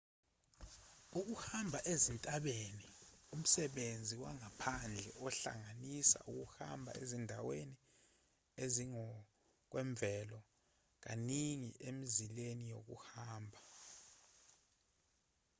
ukuhamba ezintabeni umsebenzi wangaphandle ohlanganisa ukuhamba ezindaweni ezingokwemvelo kaningi emizileni yokuhamba